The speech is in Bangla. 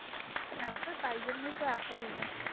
হ্যা ওটা তিনি জন্যই apple না